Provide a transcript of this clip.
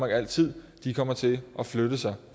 altid kommer til at flytte sig